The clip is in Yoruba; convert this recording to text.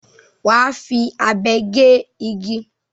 Wà á fi abe gé igi.